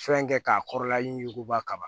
Fɛn kɛ k'a kɔrɔla yuguyuguba kaban